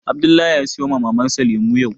Abdullahi ya sayo wa Mamar sa lemu yau